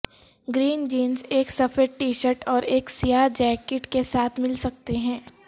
green jeans ایک سفید T shirt اور ایک سیاہ جیکٹ کے ساتھ مل سکتے ہیں